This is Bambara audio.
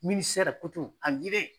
Minisɛrɛ koto a ɲinɛ